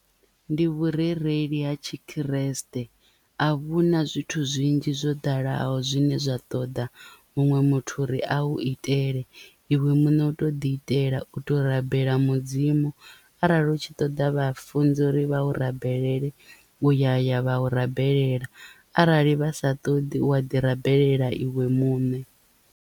Ndi vhurereli ha tshikriste a vhuna zwithu zwinzhi zwo ḓalaho zwine zwa ṱoḓa muṅwe muthu uri a u itele iwe muṋe u to ḓi itela u to rabela mudzimu arali u tshi ṱoḓa vhafunzi uri vha u rabelela uya ya vha u rabelela arali vha sa ṱoḓi u a ḓi rabelela iwe muṋe.